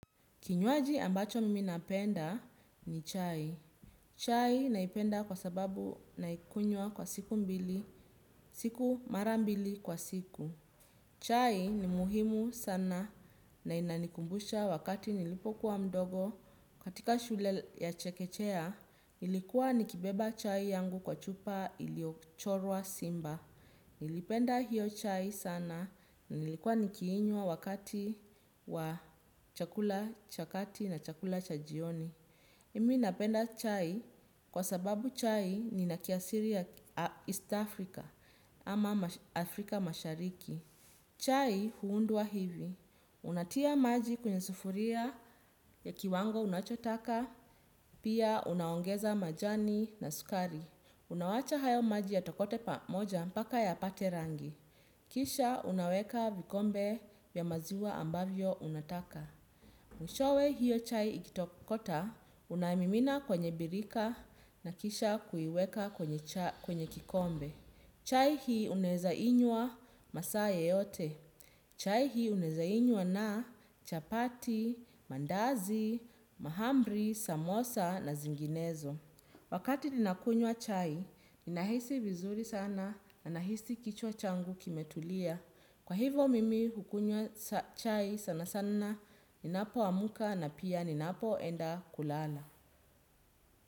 Kinywaji ambacho mimi napenda ni chai. Chai naipenda kwa sababu naikunywa kwa siku mbili, siku mara mbili kwa siku. Chai ni muhimu sana na inanikumbusha wakati nilipo kuwa mdogo. Katika shule ya chekechea, nilikuwa nikibeba chai yangu kwa chupa iliochorwa simba. Nilipenda hiyo chai sana na nilikuwa nikiinywa wa wakati wa chakula cha kati na chakula cha jioni. Mimi napenda chai kwa sababu chai ina kiasiri ya East Africa ama Afrika mashariki. Chai huundwa hivi. Unatia maji kwenye sufuria ya kiwango unachotaka, pia unaongeza majani na sukari. Unawacha hayo maji yatokote pamoja mpaka yapate rangi. Kisha unaweka vikombe ya maziwa ambavyo unataka. Mwishowe hiyo chai ikitokota, unamimina kwenye birika na kisha kuiweka kwenye kikombe. Chai hii unaweza inywa masaa yeyote. Chai hii unaweza inywa na chapati, mandazi, mahamri, samosa na zinginezo. Wakati ninakunywa chai, ninahisi vizuri sana na nahisi kichwa changu kimetulia. Kwa hivo mimi hukunywa chai sana sana, ninapo amka na pia ninapo enda kulala.